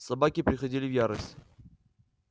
собаки приходили в ярость